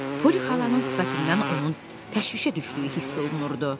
Polli xalanın sifətindən onun təşvişə düşdüyü hiss olunurdu.